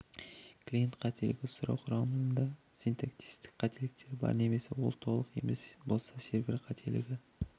клиент қателігі сұрау құрамында синтаксистік қателіктер бар немесе ол толық емес болса сервер қателігі